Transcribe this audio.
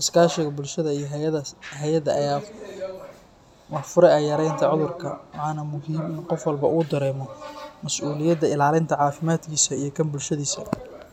Iskaashiga bulshada iyo hay’adaha ayaa fure u ah yareynta cudurka, waxaana muhiim ah in qof walba uu dareemo masuuliyadda ilaalinta caafimaadkiisa iyo kan bulshadiisa.